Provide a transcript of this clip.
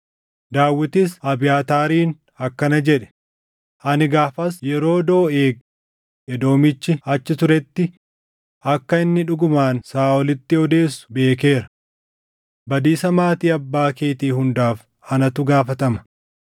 Daawitis Abiyaataariin akkana jedhe; “Ani gaafas yeroo Dooʼeeg Edoomichi achi turetti akka inni dhugumaan Saaʼolitti odeessu beekeera. Badiisa maatii abbaa keetii hundaaf anatu gaafatama.